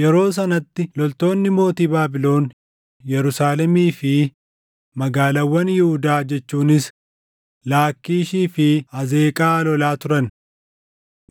yeroo sanatti loltoonni mootii Baabilon Yerusaalemii fi magaalaawwan Yihuudaa jechuunis Laakkiishii fi Azeeqaa lolaa turan.